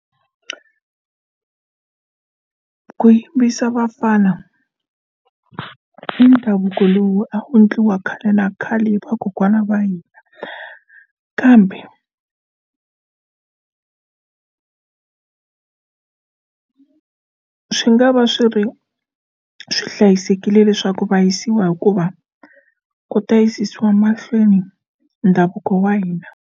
Ku yimbisa vafana i ndhavuko lowu a wu endliwa khale na khale vakokwana va hina kambe swi nga va swi ri swi hlayisekile leswaku va yisiwa hikuva ku ta yisiwa mahlweni ndhavuko wa hina.